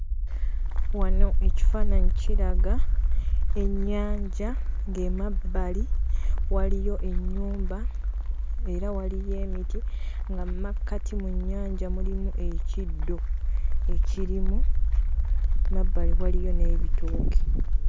Wano ekifaananyi kiraga ennyanja ng'emabbali waliyo ennyumba era waliyo emiti, nga mu makkati mu nnyanja mulimu ekiddo ekirimu. Emabbali waliyo n'ebitooke.